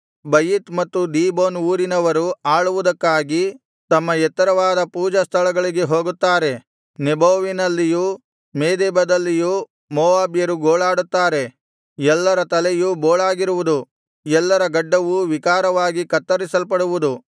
Bajith ಮತ್ತು Dibon ಊರಿನವರು ಆಳುವುದಕ್ಕಾಗಿ ತಮ್ಮ ಎತ್ತರವಾದ ಪೂಜಾ ಸ್ಥಳಗಳಿಗೆ ಹೋಗುತ್ತಾರೆ ನೆಬೋವಿನಲ್ಲಿಯೂ ಮೇದೆಬದಲ್ಲಿಯೂ ಮೋವಾಬ್ಯರು ಗೋಳಾಡುತ್ತಾರೆ ಎಲ್ಲರ ತಲೆಯು ಬೋಳಾಗಿರುವುದು ಎಲ್ಲರ ಗಡ್ಡವು ವಿಕಾರವಾಗಿ ಕತ್ತರಿಸಲ್ಪಡುವುದು